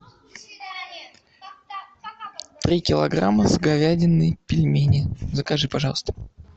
три килограмма с говядиной пельмени закажи пожалуйста